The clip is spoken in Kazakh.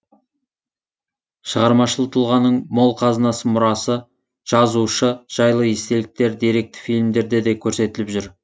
шығармашыл тұлғаның мол қазынасы мұрасы жазушы жайлы естеліктер деректі фильмдерде де көрсетіліп жүр